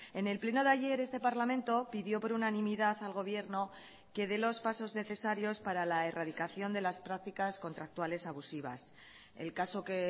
en el pleno de ayer este parlamento pidió por unanimidad al gobierno que dé los pasos necesarios para la erradicación de las prácticas contractuales abusivas el caso que